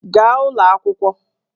Gaa ụlọ akwụkwọ!